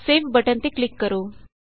save button ਤੇ click ਕਰੋ